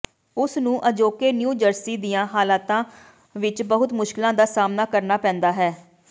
ਉਸ ਨੂੰ ਅਜੋਕੇ ਨਿਊ ਜਰਸੀ ਦੀਆਂ ਹਾਲਤਾਂ ਵਿਚ ਬਹੁਤ ਮੁਸ਼ਕਲਾਂ ਦਾ ਸਾਮ੍ਹਣਾ ਕਰਨਾ ਪੈਂਦਾ ਹੈ